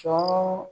Sɔ